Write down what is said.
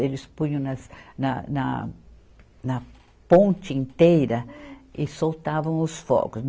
Eles punham nas, na, na, na ponte inteira e soltavam os fogos.